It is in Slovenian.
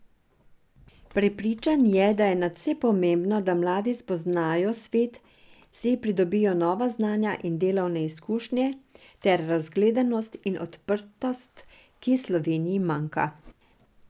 Prepričan je, da je nadvse pomembno, da mladi spoznajo svet, si pridobijo nova znanja in delovne izkušnje ter razgledanost in odprtost, ki Sloveniji manjka.